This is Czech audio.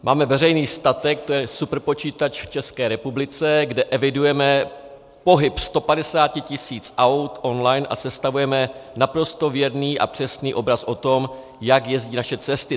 Máme veřejný statek, to je superpočítač v České republice, kde evidujeme pohyb 150 tisíc aut online a sestavujeme naprosto věrný a přesný obraz o tom, jak jezdí naše cesty.